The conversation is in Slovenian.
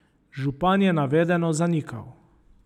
Župan je navedeno zanikal.